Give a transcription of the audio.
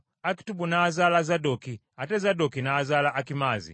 Akitubu n’azaala Zadooki, ate Zadooki n’azaala Akimaazi;